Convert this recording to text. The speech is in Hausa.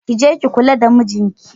Ki je ki kula da mijinki.